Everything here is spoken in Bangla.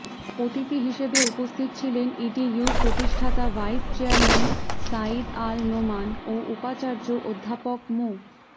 অতিথি হিসেবে উপস্থিত ছিলেন ইডিইউর প্রতিষ্ঠাতা ভাইস চেয়ারম্যান সাঈদ আল নোমান ও উপাচার্য অধ্যাপক মু